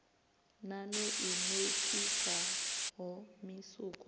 nan o i nokisaho musuku